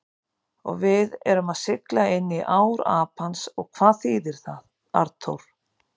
Og við erum að sigla inní ár Apans og hvað þýðir það, Arnþór?